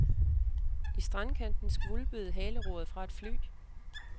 I strandkanten skvulpede haleroret fra et fly.